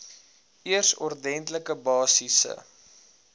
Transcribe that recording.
eers ordentlike basiese